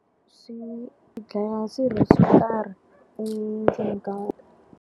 Swi dlaya swirho so karhi endzeni ka .